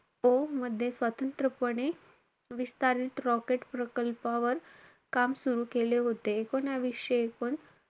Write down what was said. O मध्ये स्वतंत्रपणे विस्तारित rocket प्रकल्पावर काम सुरु केले होते. एकूणवीसशे एकोण,